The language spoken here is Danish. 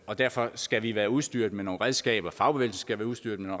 og derfor skal vi være udstyret med nogle redskaber fagbevægelsen skal være udstyret med